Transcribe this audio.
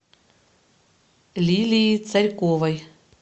лилии царьковой